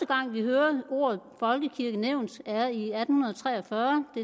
gang vi hører ordet folkekirke nævnt er i atten tre og fyrre af